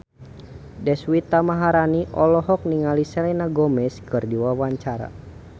Deswita Maharani olohok ningali Selena Gomez keur diwawancara